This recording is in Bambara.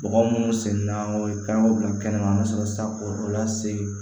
Bɔgɔ munnu sen na o ye kanw bila kɛnɛ ma an ka sɔrɔ ka o lase